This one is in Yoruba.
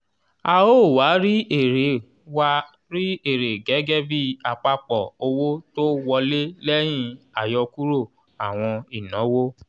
a ó wá rí èrè wá rí èrè gẹ́gẹ́bí àpapọ̀ owó tó wọlé lẹ́yìn àyọkúrò àwọn ìnáwó.